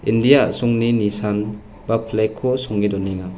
india a·songni nisan ba flag-ko songe donenga.